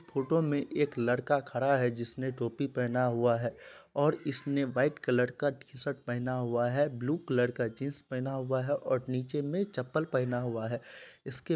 Photo में एक लड़का खड़ा है जिसने टोपी पहना हुआ है और उसने व्हाइट कलर का टी शर्ट पहना हुआ है ब्लू कलर का जींस पहना हुआ है और नीचे में चप्पल पहना हुआ है इसके--।